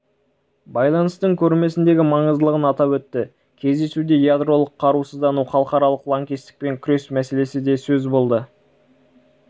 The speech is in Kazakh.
байланыстың көрмесіндегі маңыздылығын атап өтті кездесуде ядролық қарусыздану халықаралық лаңкестікпен күрес мәселесі де сөз болды